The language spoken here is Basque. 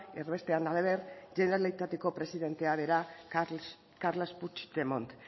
erbestean hala ere generalitateko presidentea bera carles puigdemont